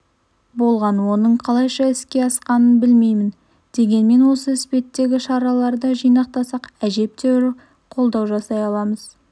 болған оның қалайша іске асқанын білмеймін дегенмен осы іспетті шараларды жинақтасақ әжептәуір қолдау жасай аламыз